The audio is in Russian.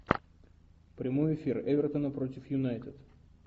прямой эфир эвертона против юнайтед